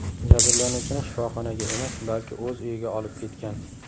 jabrlanuvchini shifoxonaga emas, balki o‘z uyiga olib ketgan.